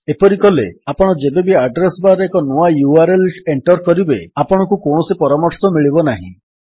ଏପରି କଲେ ଆପଣ ଯେବେବି ଆଡ୍ରେସ୍ ବାର୍ ରେ ଏକ ନୂଆ ୟୁଆରଏଲ୍ ଏଣ୍ଟର୍ କରିବେ ଆପଣଙ୍କୁ କୌଣସି ପରାମର୍ଶ ମିଳିବ ନାହିଁ